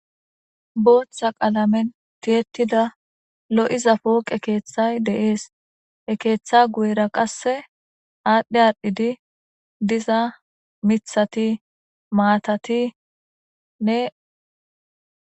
booththa qaalamen teetida lo7iza pooqe keeththay deees he keeththa guyera qasse aadhdhe aadhidi diza mithati maatatinne